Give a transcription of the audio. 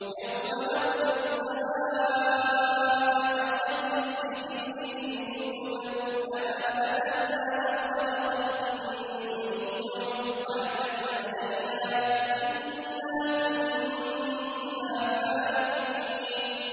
يَوْمَ نَطْوِي السَّمَاءَ كَطَيِّ السِّجِلِّ لِلْكُتُبِ ۚ كَمَا بَدَأْنَا أَوَّلَ خَلْقٍ نُّعِيدُهُ ۚ وَعْدًا عَلَيْنَا ۚ إِنَّا كُنَّا فَاعِلِينَ